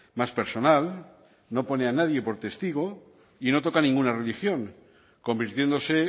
más personal no pone a nadie por testigo y no toca ninguna religión convirtiéndose